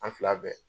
An fila bɛɛ